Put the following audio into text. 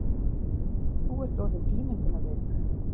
Þú ert orðin ímyndunarveik.